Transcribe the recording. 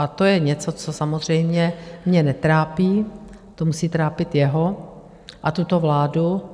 A to je něco, co samozřejmě mě netrápí, to musí trápit jeho a tuto vládu.